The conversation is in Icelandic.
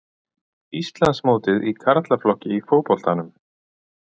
Íslandsmótið í karlaflokki í fótboltanum